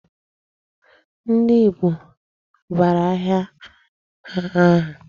Ndị Igbo a bara ahịa ha aha?